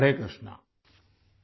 Hare Krishna !